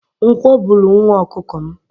Nkwọ buru nwa ọkụkọ m.